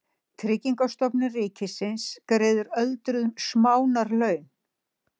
Tryggingastofnun ríkisins greiðir öldruðum smánarlaun.